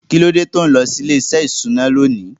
Kín ló dé tí ò ń lọ sí ilé-iṣẹ́ ìṣúná lónìí?